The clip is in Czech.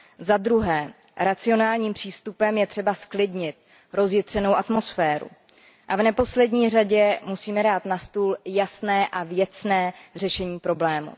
Zadruhé, racionálním přístupem je třeba zklidnit rozjitřenou atmosféru a v neposlední řadě musíme dát na stůl jasné a věcné řešení problému.